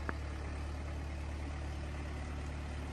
поставь алекс паклин